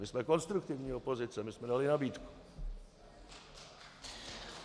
My jsme konstruktivní opozice, my jsme dali nabídku.